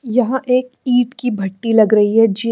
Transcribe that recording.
यहा एक ईट की भट्टी लग रही हे जी --